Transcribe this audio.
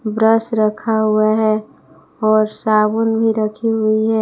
Brush रखा हुआ है और साबुन भी रखी हुई है।